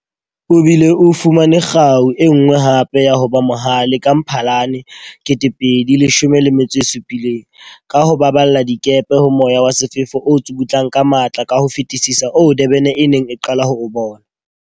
O bile o fumane kgau e nngwe hape ya ho ba mohale ka Mphalane 2017, ka ho baballa dikepe ho moya wa sefefo o tsukutlang ka matla ka ho fetisisa oo Durban e neng e qala ho o bona.